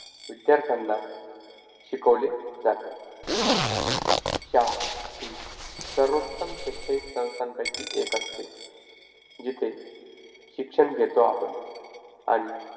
पाठातील स्वाध्याय स्वाध्याय नंबर एक एका वाक्यात उत्तरे लिहा चंद्रावरील शाळा कोणत्या शतकात भरेल?